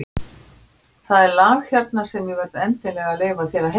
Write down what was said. Það er lag hérna sem ég verð endilega að leyfa þér að heyra.